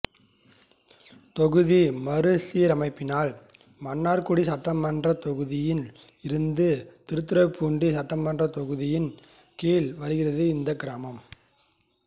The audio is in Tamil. தொகுதி மறு சீர் அமைப்பினால் மன்னார்குடி சட்டமன்றத் தொகுதியில் இருந்து திருத்துறைபூண்டி சட்டமன்றத் தொகுதியின் கீழ் வருகிறது இந்த கிராமம்